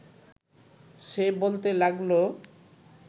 সে বলতে লাগল